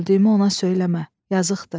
Öldüyümü ona söyləmə, yazıqdır.